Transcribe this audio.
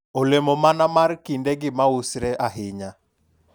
olemo mana mar kindegi ma usre ahinya?